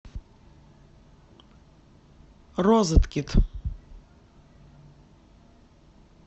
розеткед